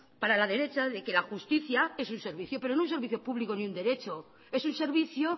para la derecha de que la justicia es un servicio pero no un servicio público ni un derecho es un servicio